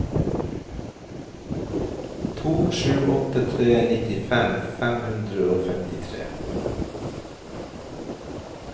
to sju åtte tre nittifem fem hundre og femtitre